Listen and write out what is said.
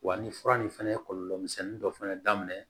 Wa ni fura nin fɛnɛ ye kɔlɔlɔmisɛnnin dɔ fana daminɛ